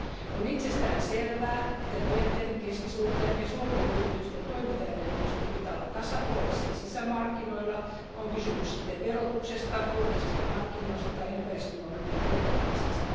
On itsestään selvää, että pienten, keskisuurten ja suurten yritysten toimintaedellytysten pitää olla tasapuolisia sisämarkkinoilla, on kysymys sitten verotuksesta, julkisista hankinnoista tai ympäristönormien noudattamisesta.